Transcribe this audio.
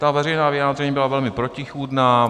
Ta veřejná vyjádření byla velmi protichůdná.